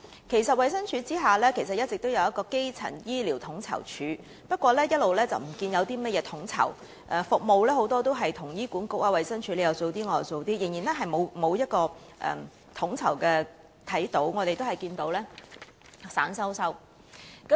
其實，衞生署轄下一直設有基層醫療統籌處，不過一直未見它有任何統籌工作，大部分服務由醫管局與衞生署分擔，沒有真正的統籌，情況鬆散。